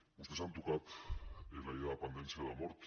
vostès han tocat la llei de dependència de mort